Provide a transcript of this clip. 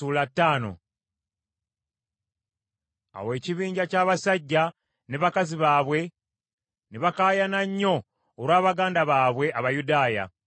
Awo ekibinja ky’abasajja ne bakazi baabwe ne bakaayana nnyo olwa baganda baabwe Abayudaaya.